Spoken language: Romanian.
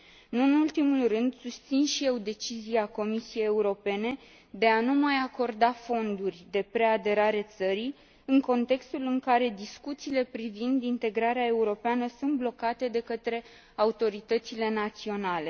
Nu în ultimul rând, susțin și eu decizia Comisiei Europene de a nu mai acorda fonduri de preaderare țării, în contextul în care discuțiile privind integrarea europeană sunt blocate de către autoritățile naționale.